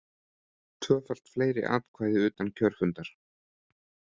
Tvöfalt fleiri atkvæði utan kjörfundar